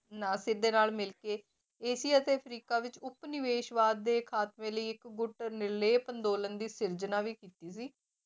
ਨਾਸਿਰ ਦੇ ਨਾਲ ਮਿਲ ਕੇ ਏਸ਼ੀ ਅਤੇ ਅਫਰੀਕਾ ਵਿੱਚ ਉਪਨਿਵੇਸ਼ਵਾਦ ਦੇ ਖਾਤਮੇ ਲਈ ਇੱਕ ਗੁੱਟ ਨਿਰਲੇਪ ਅੰਦੋਲਨ ਦੀ ਸਿਰਜਣਾ ਵੀ ਕੀਤੀ ਸੀ।